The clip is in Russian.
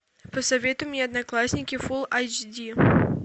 посоветуй мне одноклассники фулл айч ди